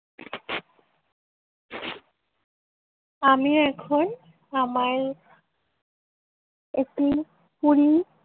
আমি এখন আমার একটি পুরী